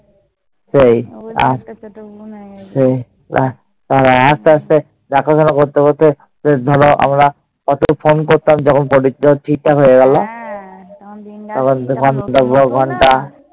আস্তে আস্তে দেখাশোনা করতে করতে ধরো আমরা কত phone করতাম যখন পরিচয়টা হয়ে গেল।